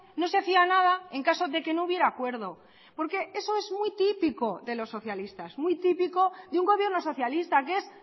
no se hacía nada en caso de que no hubiera acuerdo porque eso es muy típico de los socialistas muy típico de un gobierno socialista que es